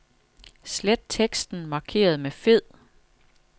Slet teksten markeret med fed.